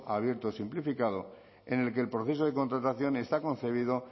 abierto o simplificado en el que el proceso de contratación está concebido